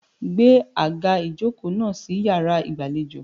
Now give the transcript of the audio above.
Gbé àga ìjokòó náà sí yàrá ìgbàlejò.